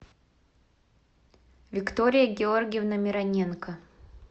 виктория георгиевна мироненко